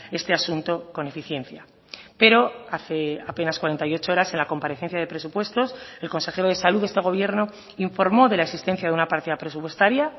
este asunto con eficiencia pero hace apenas cuarenta y ocho horas en la comparecencia de presupuestos el consejero de salud de este gobierno informó de la existencia de una partida presupuestaria